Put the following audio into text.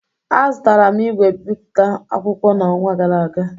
Azụtaram ìgwè ebipụta akwụkwọ na-onwa gara aga.